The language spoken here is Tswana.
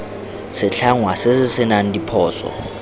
setlhangwa se se senang diphoso